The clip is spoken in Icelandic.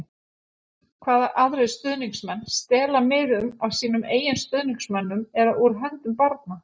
Hvaða aðrir stuðningsmenn stela miðum af sínum eigin stuðningsmönnum eða úr höndum barna?